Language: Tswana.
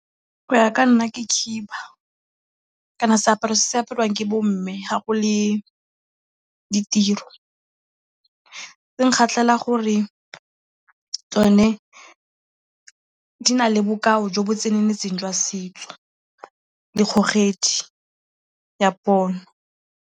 Go ya ka nna ke khiba. Seaparo se se apariwang ke bo mme ga go le ditiro. Se nkgatlhela gore tsone di na le bokao jo bo tseneletseng jwa setso le kgogedi ya pono.